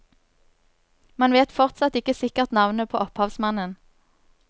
Man vet fortsatt ikke sikkert navnet på opphavsmannen.